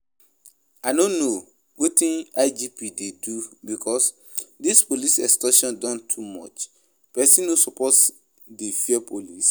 I no know wetin IGP dey do because dis police extortion don too much, person no suppose dey fear police